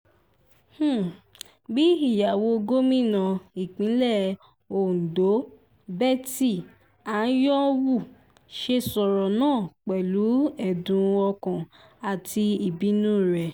bí ìyàwó gómìnà ìpínlẹ̀ ondo betty anyanwu ṣe sọ̀rọ̀ náà pẹ̀lú ẹ̀dùn ọkàn àti ìbínú rèé